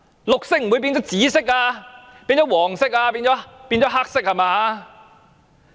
綠色不會變成紫色、不會變成黃色、不會變成黑色吧！